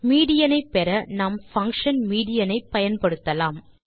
median ஐ பெற நாம் பங்ஷன் மீடியன் ஐ பயன்படுத்தலாம்